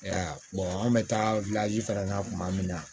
E y'a ye an bɛ taa fana na kuma min na